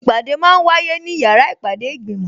Ìpàdé máa ń wáyé ní yàrá ìpàdé ìgbìmò